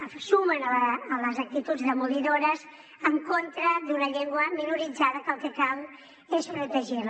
se sumen a les actituds demolidores en contra d’una llengua minoritzada que el que cal és protegir la